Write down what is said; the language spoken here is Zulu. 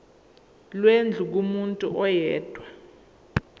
lwendlu kumuntu oyedwa